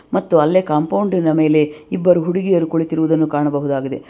ಮತ್ತು ಅಲ್ಲೇ ಕಾಂಪೌಂಡಿನ ಮೇಲೆ ಇಬ್ಬರು ಹುಡುಗಿಯರು ಕುಳುತಿರುವುದನ್ನು ಕಾಣಬಹುದಾಗಿದೆ.